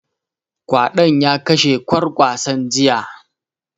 Ƙwadon ya kashe ƙwarkasan jiya